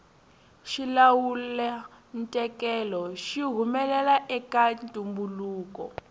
xilawulantekelo xi humelela eka ntumbuluko